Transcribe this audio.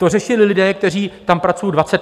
To řešili lidé, kteří tam pracují 20 let.